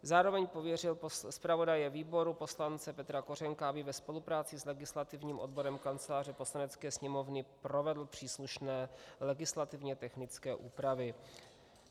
Zároveň pověřil zpravodaje výboru poslance Petra Kořenka, aby ve spolupráci s legislativním odborem Kanceláře Poslanecké sněmovny provedl příslušné legislativně technické úpravy.